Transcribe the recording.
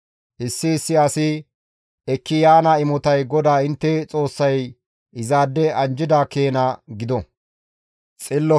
Issi issi asi ekki yaana imotay GODAA intte Xoossay izaade anjjida keena gido.